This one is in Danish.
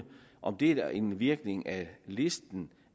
om det er en virkning af listen